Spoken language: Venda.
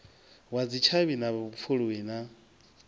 wa dzitshavhi na vhupfuluwi na